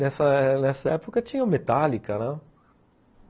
Nessa nessa época tinha o Metallica, né?